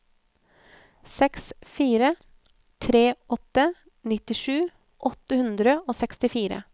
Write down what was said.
seks fire tre åtte nittisju åtte hundre og sekstifire